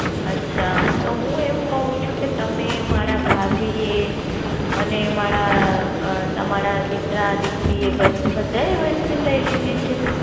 અચ્છા. તો હું એવું ક્વ છું કે તમે મારા ભાભી એ, અને મારા અ તમારા દીકરા દીકરી એ બને બધા એ Vaccine લઇ લીધી છે.